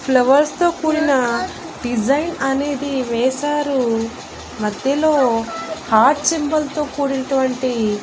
flowers తో కూడిన design అనేది వేశారు మధ్యలో హార్ట్ సింబల్ తో కూడినటువంటి--